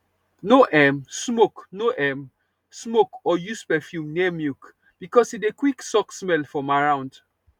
no um smoke no um smoke or use perfume near milk because e dey quick suck smell from around